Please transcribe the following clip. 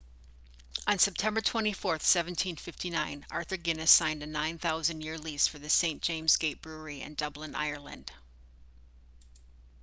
on september 24 1759 arthur guinness signed a 9,000 year lease for the st james' gate brewery in dublin ireland